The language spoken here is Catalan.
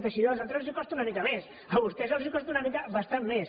teixidó als altres els costa una mica més a vostès els costa una mica bastant més